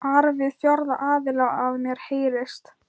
ar við fjórða aðila, að mér heyrist.